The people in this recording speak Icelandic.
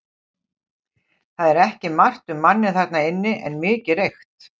Það var ekki margt um manninn þarna inni en mikið reykt.